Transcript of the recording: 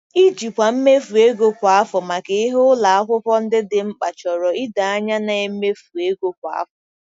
Ijikwa mmefu ego kwa afọ maka ihe ụlọ akwụkwọ ndị dị mkpa chọrọ ido anya na-emefu ego kwa afọ.